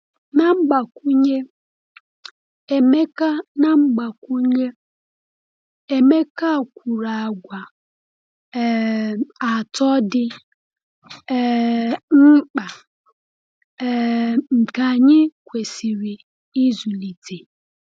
Na mgbakwunye, Emeka Na mgbakwunye, Emeka kwuru àgwà um atọ dị um mkpa um nke anyị kwesịrị ịzụlite.